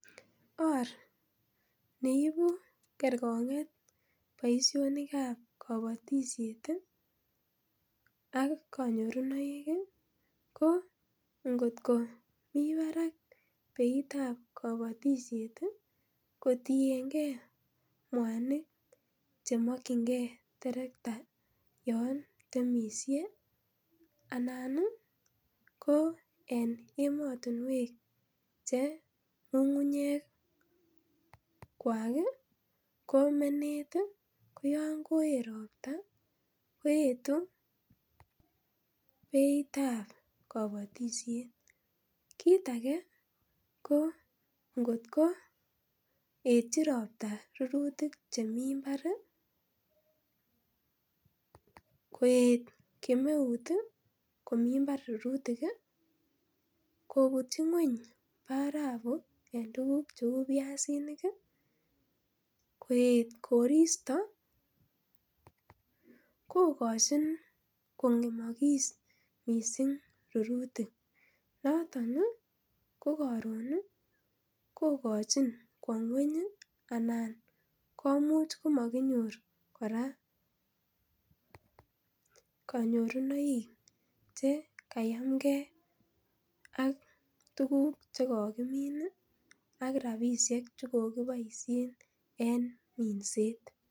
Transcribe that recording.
Orneibu kergong'et boisionik kab kabatisiet ih ak kanyorunaik ih ko ingot ko mi barak beitab kabatisiet ih kotienge mwanik cheamakyinege terekta Yoon temisie ih anan ko en emotinuek alak che ng'ung'ungnyek ih kwak ih ko menet ih beitab kabatisiet. Kit age ko ingot ko etyi robta rurutik chemi mbar koet kemeut ih ko mi imbar rurutik ih, ingobutie ngueny barabu ih ko en tuguk cheuu biasinik ih , ko ingoet korista kokochin kong'emmakis missing rurutik noton ih ko karon ih kokochin kwa ngueny ih komaginyor kora kanyorunaik che kayamgei ak tuguk chego komin ih ak tuguk chekikiboisien en minset